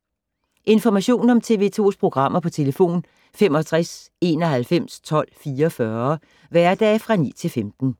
Information om TV 2's programmer: 65 91 12 44, hverdage 9-15.